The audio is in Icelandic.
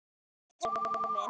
Elsku Einar minn.